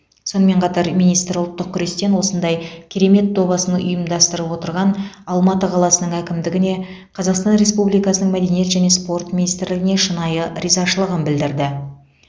сонымен қатар министр ұлттық күрестен осындай керемет добасын ұйымдастырып отырған алматы қаласының әкімдігіне қазақстан республикасының мәдениет және спорт министрлігіне шынайы ризашылығын білдірді